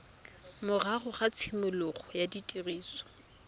morago ga tshimologo ya tiriso